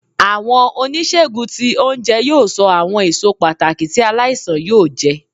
Awọn onisegùn tí ounjẹ yóò ṣo awọn èsó pàtàkì ti aláísàn yóò jẹ.